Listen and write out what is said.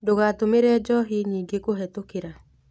Ndũgatũmĩre njohi nyingĩkũhĩtũkĩra.